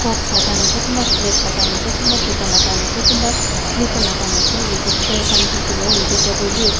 mask lagai na ase kunba flats lagai na ase kunba chuta lagai na ase kunba slipper lagai na ase yete chair kan diki bo yete table bi.